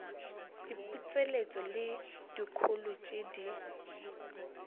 diputseletšo le dikholo tše di